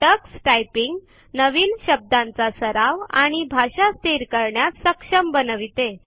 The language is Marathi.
टक्स टायपिंग नवीन शब्दांचा सराव आणि भाषा स्थिर करण्यास सक्षम बनविते